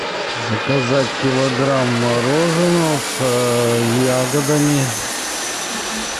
заказать килограмм мороженого с ягодами